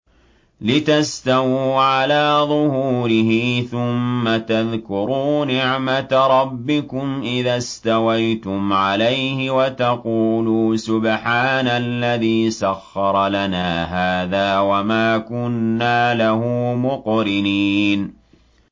لِتَسْتَوُوا عَلَىٰ ظُهُورِهِ ثُمَّ تَذْكُرُوا نِعْمَةَ رَبِّكُمْ إِذَا اسْتَوَيْتُمْ عَلَيْهِ وَتَقُولُوا سُبْحَانَ الَّذِي سَخَّرَ لَنَا هَٰذَا وَمَا كُنَّا لَهُ مُقْرِنِينَ